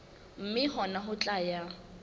mme hona ho tla ya